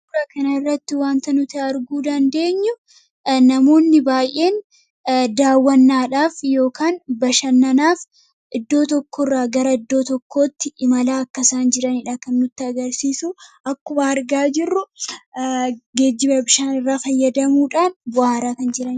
Suuraa kanarratti wanti nuti arguu dandeenyu namoonni baay'een daawwannadhaaf yookiin bashannanaaf iddoo tokkorraa gara iddoo tokkootti imalaa akka jiranidha kan nutti agarsiisu. Akkuma argaa jirru geejjiba bishaanirraa fayyadamuudhaan bohaaraa kan jiranidha.